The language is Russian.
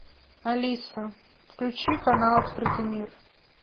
алиса включи канал открытый мир